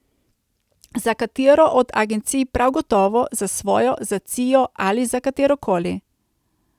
Za katero od agencij prav gotovo, za svojo, za cio ali za katerokoli.